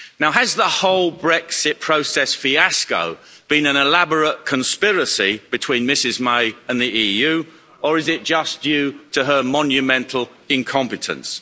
Has the whole Brexit process fiasco been an elaborate conspiracy between Mrs May and the EU, or is it just due to her monumental incompetence?